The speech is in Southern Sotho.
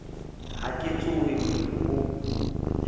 ha ke tshohe moru o